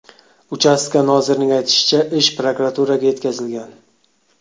Uchastka nozirining aytishicha, ish prokuraturaga yetkazilgan.